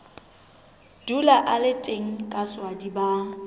dula a le teng kaswadi ba